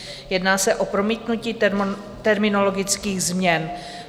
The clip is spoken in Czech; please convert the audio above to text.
Jedná se o promítnutí terminologických změn.